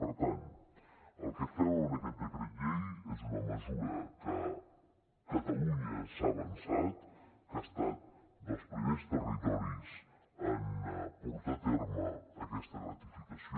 per tant el que fem amb aquest decret llei és una mesura que catalunya s’ha avançat que ha estat dels primers territoris en portar a terme aquesta gratificació